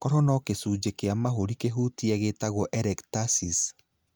Koro no gĩcunjĩ kĩa mahũri kĩhutie gĩtagwo atelectasis.